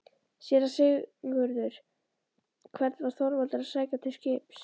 SÉRA SIGURÐUR: Hvern var Þorvaldur að sækja til skips?